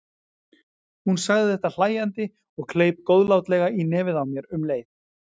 Hún sagði þetta hlæjandi og kleip góðlátlega í nefið á mér um leið.